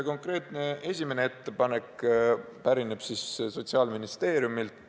Konkreetne esimene ettepanek pärineb Sotsiaalministeeriumilt.